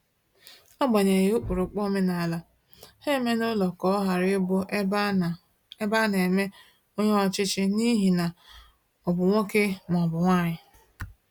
Agbanyeghi ụkpụrụ omenala, ha emela ụlọ ha ka ọ ghara ịbụ ebe ana ebe ana eme onye ọchịchị n'ihi na ọ bụ nwoke ma ọ bụ nwanyi